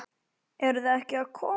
Eruð þið ekki að koma?